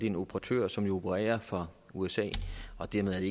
en operatør som opererer fra usa og dermed